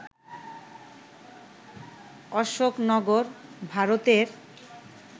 অশোকনগর, ভারতের